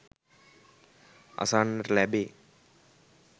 අසන්නට ලැබේ